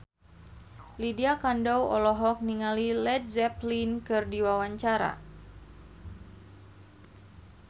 Lydia Kandou olohok ningali Led Zeppelin keur diwawancara